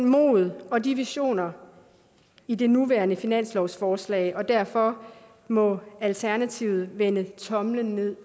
mod og de visioner i det nuværende finanslovsforslag og derfor må alternativet vende tommelen ned